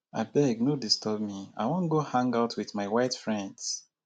abeg no disturb me i wan go hang out with my white friends